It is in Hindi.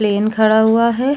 प्लेन खड़ा हुआ है।